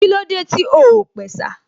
Kílódé tí o ò pẹ̀sà?